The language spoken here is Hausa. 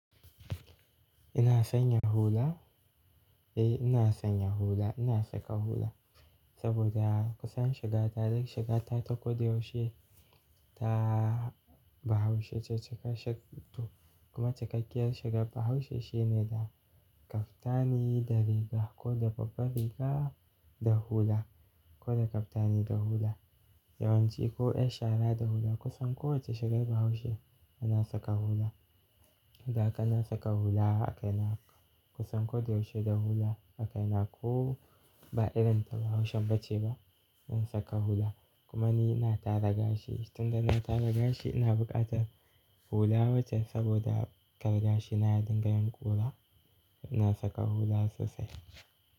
Ina sanya hula? Eh ina sanya hula, ina saka hula saboda kusan shiga ta duk shigata ta ko da yaushe ta bahaushe ce shigar sheik mutum. Kuma cikakkiyar shigar Bahaushe shine da kaftani da riga ko da babba riga da hula ko da kaftani da hula. Yawanci ko yar shara da hula kusan kowacce shagar Bahaushe ana saka hula. Ina saka hula a kaina kusan ko da yaushe da hula a kaina ko ba irin ta Bahaushen ba ce ba ina saka hula. Kuma ni ina tara gashi. Tun da na tara gashi ina buƙatar hula waje saboda kar gashina ya dinga yin kura. Ina saka hula sosai.